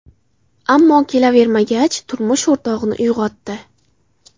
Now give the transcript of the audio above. Ammo kelavermagach, turmush o‘rtog‘ini uyg‘otdi.